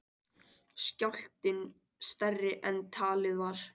Skjálftinn stærri en talið var